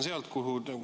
Aitäh!